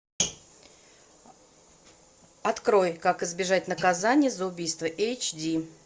открой как избежать наказания за убийство эйч ди